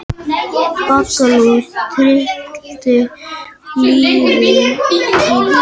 Baggalútur tryllti lýðinn í Hofi